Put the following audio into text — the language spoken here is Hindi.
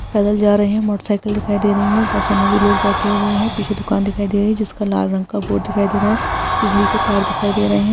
पैदल जा रहे है मोटरसाइकिल दिखाई दे रही है बसों में भी लोग बैठे हुए है पीछे दुकान दिखाई दे रही है जिसका लाल रंग का बोर्ड दिखाई दे रहा है बिजली के तार दिखाई दे रहे हैं।